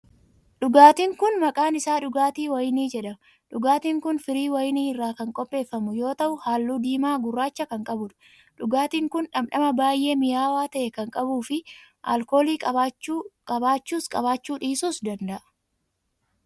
Dhugaatiin kun, maqaan isaa dhugaatii wayinii jedhama. Dhugaatiin kun, firii wayinii irraa kan qopheeffamu yoo ta'u, haalluu diimaa gurraacha kan qabuu dha. Dhugaatiin kun, dhandhama baay'ee mi'aawaa ta'e kan qabuu fi alkoolii qabaachuus qabaachuu dhiisuus danda'a.